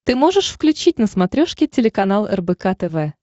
ты можешь включить на смотрешке телеканал рбк тв